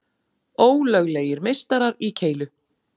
Ólöglegir meistarar í keilu